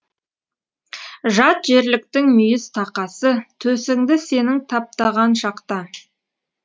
жат жерліктің мүйіз тақасы төсіңді сенің таптаған шақта